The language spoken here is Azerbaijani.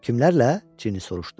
Kimlərrlə?" Cini soruşdu.